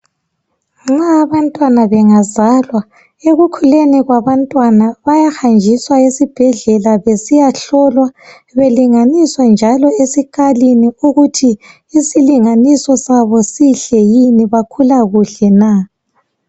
Nxa abantwana engazalwa ekukhuleni kwabantwana bayahanjiswa esibhedlela besiyahlolwa belinganiswa njalo esikalini ukuthi isilinganiso sabo sihle yini bakhula kuhle na.